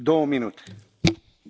Panie Przewodniczący!